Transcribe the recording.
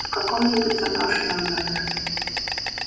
в каком-нибудь заброшенном доме